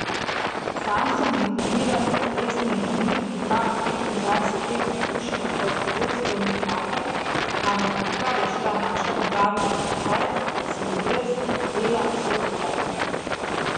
Sam sem diplomiran lesni inženir, imam petindvajset let izkušenj kot vodstveni kader, ampak odkar je šla naša tovarna v stečaj, sem bil brez dela vse do zdaj.